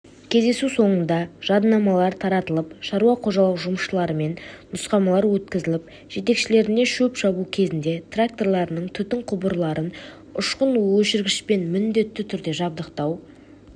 кездесу сонында жадынамалар таратылып шаруа қожалық жұмысшыларымен нұсқамалар өткізіліп жетекшілеріне шөп шабу кезінде тракторларының түтін құбырларын ұшқын өшіргішпен міндетті түрде жабдықтау